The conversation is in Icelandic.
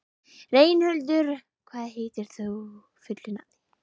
Reynhildur, hvað heitir þú fullu nafni?